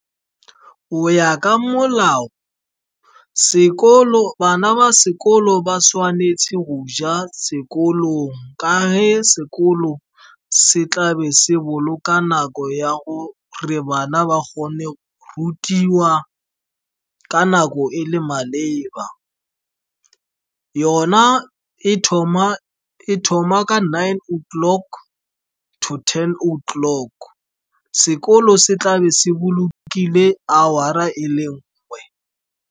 Go ya ka molao, bana ba sekolo ba tshwanetse go ja sekolong, ka ge sekolo se tlabe se boloka nako ya gore bana ba kgone rutiwa ka nako e le maleba. Yona e thoma ka nine oh clock to ten oh clock. Sekolo se tlabe se bolokile hour-a e le nngwe.